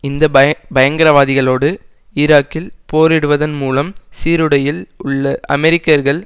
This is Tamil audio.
இந்த பயங்கரவாதிகளோடு ஈராக்கில் போரிடுவதன் மூலம் சீருடையில் உள்ள அமெரிக்கர்கள்